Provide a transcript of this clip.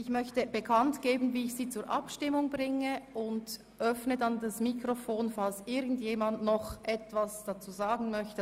Ich gebe zuerst bekannt, wie ich sie zur Abstimmung bringe und öffne dann das Mikrofon, falls irgendjemand noch etwas dazu sagen möchte.